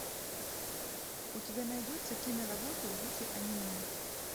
у тебя найдется киноработа в духе аниме